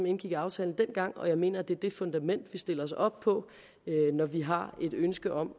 indgik aftalen dengang og jeg mener det er det fundament vi stiller os op på når vi har et ønske om